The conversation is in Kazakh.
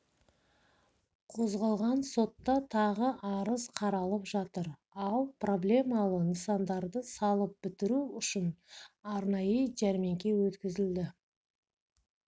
қозғалған сотта тағы арыз қаралып жатыр ал проблемалы нысандарды салып бітіру үшін арнайы жәрмеңке өткізілді